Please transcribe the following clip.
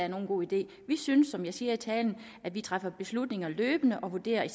er nogen god idé vi synes som jeg siger i talen at vi træffer beslutninger løbende og vurderer i